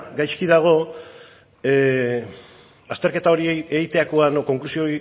gaizki dago azterketa hori egiterakoan konklusio